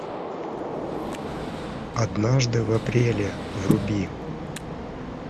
однажды в апреле вруби